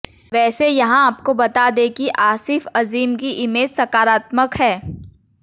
वैसे यहां आपको बता दें कि आसिफ अजीम की इमेज सकारात्मक है